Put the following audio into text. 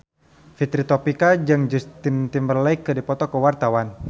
Fitri Tropika jeung Justin Timberlake keur dipoto ku wartawan